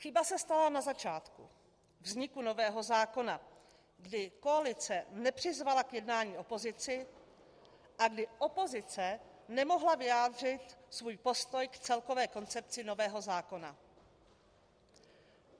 Chyba se stala na začátku vzniku nového zákona, kdy koalice nepřizvala k jednání opozici a kdy opozice nemohla vyjádřit svůj postoj k celkové koncepci nového zákona.